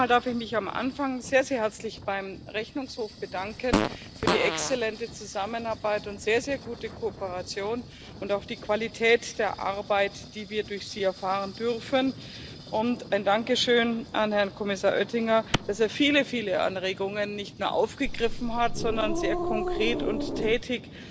Zunächst einmal darf ich mich am Anfang sehr, sehr herzlich beim Rechnungshof für die exzellente Zusammenarbeit und sehr, sehr gute Kooperation bedanken und auch für die Qualität der Arbeit, die wir durch Sie erfahren dürfen. Ein Dankeschön an Herrn Kommissar Oettinger, dass er viele, viele Anregungen nicht nur aufgegriffen hat, sondern sehr konkret und tätig